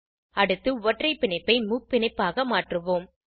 அடுத்து ஒற்றை பிணைப்பை முப்பிணைப்பாக மாற்றுவோம்